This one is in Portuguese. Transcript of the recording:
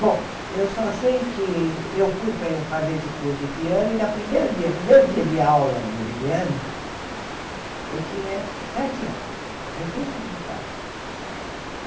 Bom, eu só sei que eu fui para fazer esse curso de piano e, na primeiro dia primeiro dia de aula meu de piano, eu tinha sete anos, recém-completados.